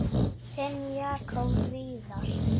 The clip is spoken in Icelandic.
Þinn Jakob Viðar.